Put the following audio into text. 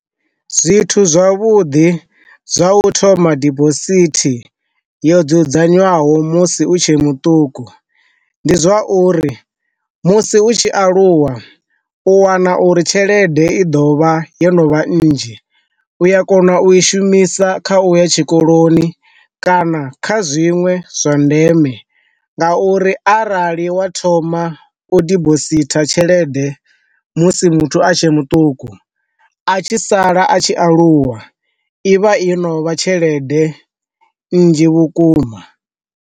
Zwithu zwavhuḓi zwa u thoma dibosithi yo dzudzanywaho musi u tshe muṱuku, ndi zwa uri musi u tshi aluwa u wana uri tshelede i ḓovha yo no vha nnzhi u ya kona u i shumisa kha u ya tshikoloni, kana kha zwiṅwe zwa ndeme nga uri arali wa thoma u dibositha tshelede musi muthu a tshe muṱuku, a tshi sala a tshi aluwa ivha yo novha tshelede nnzhi vhukuma.